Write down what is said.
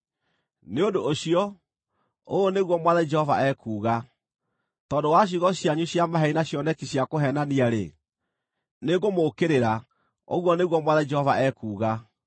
“ ‘Nĩ ũndũ ũcio, ũũ nĩguo Mwathani Jehova ekuuga: Tondũ wa ciugo cianyu cia maheeni na cioneki cia kũheenania-rĩ, nĩngũmũũkĩrĩra, ũguo nĩguo Mwathani Jehova ekuuga.’